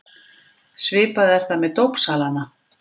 Svipað er það með dópsalana.